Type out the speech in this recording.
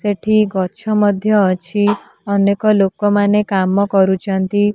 ସେଠି ଗଛ ମଧ୍ୟ ଅଛି। ଅନେକ ଲୋକ ମାନେ କାମ କରୁଛନ୍ତି।